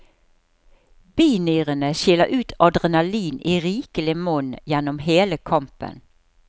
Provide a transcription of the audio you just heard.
Binyrene skiller ut adrenalin i rikelig monn gjennom hele kampen.